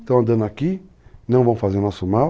Estão andando aqui, não vão fazer o nosso mal,